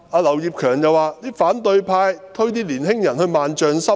劉業強議員說，反對派把年輕人推落萬丈深淵。